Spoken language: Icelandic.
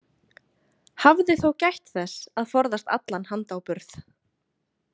Hafði þó gætt þess að forðast allan handáburð.